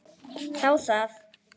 Þá það!